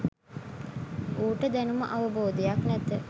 ඌට දැනුම අවබෝධයක් නැත